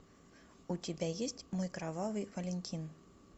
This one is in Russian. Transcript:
у тебя есть мой кровавый валентин